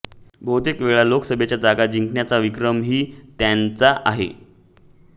बहुतेक वेळा लोकसभेच्या जागा जिंकण्याचा विक्रमही त्यांचा आहे